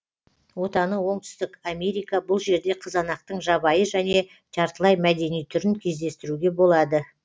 отаны оңтүстік америка бұл жерде қызанақтың жабайы және жартылай мәдени түрін кездестіруге болады